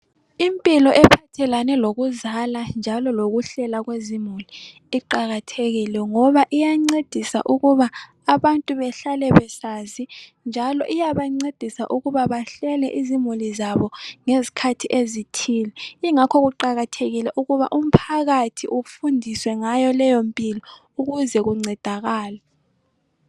Impilo ephathelane lokuzala njalo lokuhlela kwezimuli iqakathekile ngoba iyancedisa ukuba abantu behlale besazi, njalo iyabancedisa ukuba bahlele izimuli zabo ngezkhathi ezithile, ingakho kuqakathekile ukuba umphakathi ufundiswe ngayo leyo mpilo ukuze kuncedakalwe.